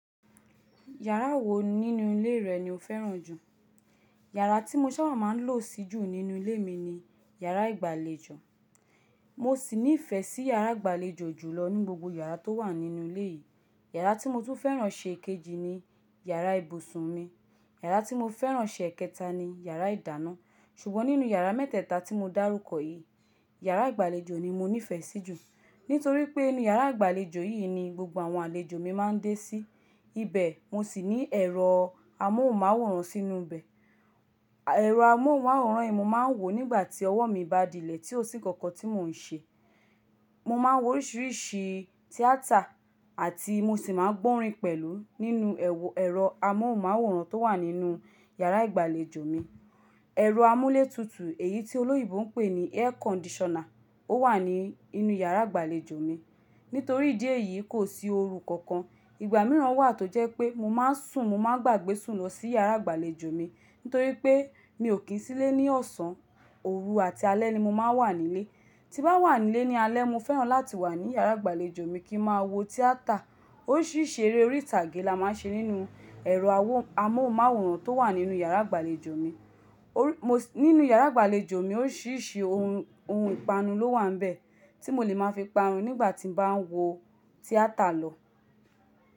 Yàrá wo nínú ilé rẹ ni o fẹ́ràn jù? Yàrá tí mo ṣábà máa ń lò sí jù nínú ilé mi ni yàrá ìgbàlejò. Mo sì ní ìfẹ́ sí yàrá ìgbàlejò jùlọ nínú gbogbo yàrá tó wà nínú ilé yìí. Yàrá tí mo tún fẹ́ràn ṣe kejì ni yàrá ibùsùn mi. Yàrá tí mo fẹ́ràn ṣe kẹta ni yàrá ìdáná. Ṣùgbọ́n nínú yàrá mẹ́tẹ̀ẹ̀ta tí mo dárúkọ yìí, yàrá ìgbàlejò ni mo nífẹ̀ẹ́ sí jù. Nítorí pé inú yàrá ìgbàlejò yìí ni gbogbo àwọn àlejò mi máa ń dé sí. Ibẹ̀ mo sì ní ẹ̀rọ amóhùnmáwòrán sínú ibẹ̀. Ẹ̀rọ amóhùnmáwòrán yìí mo máa ń wò nígbà tí ọwọ́ mi bá dilẹ̀ tí ó sì nkankan tí mò ń ṣe. Mo máa ń wo oríṣìíríṣìí tíátà àti mo sì máa ń gbọ́ orin pẹ̀lú nínú ẹ̀rọ amóhùnmáwòrán tó wà nínú yàrá ìgbàlejò mi. Ẹ̀rọ amúlétutu èyí tí olóyińbo npè ní air conditioner ó wà ní inú yàrá ìgbàlejò mi. Nítorí idi eyìí kò sí oru kankan. Ìgbà mìíràn wà tó jẹ́ pé mo máa ń sùn, mo máa ń gbàgbé sùn lọ sí yàrá ìgbàlejò mi. Nítorí pé mi ò kín sílé ní ọ̀sán, òru àti alẹ́ ni mo máa ń wà nílé. Tín bá wà nílé ní alẹ́, mo fẹ́ràn láti wà ní yàrá ìgbàlejò mi kí n máa wo tíátà. Oríṣìíríṣìí eré orí ìtàgé la máa ń ṣe nínú ẹ̀rọ amóhùnmáwòrán tó wà nínú yàrá ìgbàlejò mi. Nínú yàrá ìgbàlejò mi oríṣìíríṣìí ohun ìpanu ló wà níbẹ̀ tí mo le máa fi panu nígbà tí mo bá ń wo tíátà lọ.